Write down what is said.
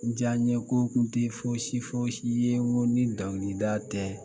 N diya n ye ko tun tɛ fosi fosi ye n ko ni dɔnkilida tɛ